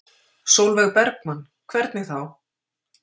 Sólveig Bergmann: Hvernig þá?